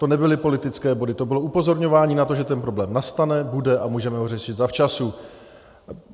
To nebyly politické body, to bylo upozorňování na to, že ten problém nastane, bude a můžeme ho řešit zavčasu.